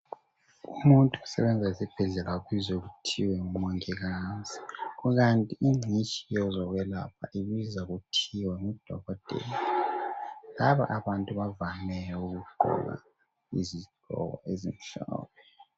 Umuntu osebenza esibhedlela ubizwa kuthiwa nguMongikazi kanti ngcitshi yezokwelapha ibizwa kuthiwa nguDokotela. Laba abantu bavame ukugqoka izigqoko ezimhlophe.